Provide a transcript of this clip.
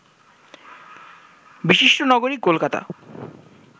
বিশিষ্ট নগরী কলকতা